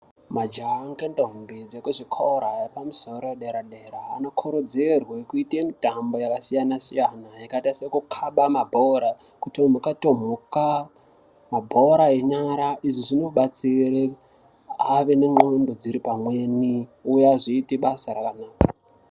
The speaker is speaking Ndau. Majaha anokatahumbidza kwezvikora zviri pamusoro dera dera anokorodzerwe kuite mitombo yakasiyana yakaita sekukaba mabhora kutomuka tomuka mabhora enyara izvi zvinobatsira ave negqondo dziri pamweni uye azoite basa rakanaka.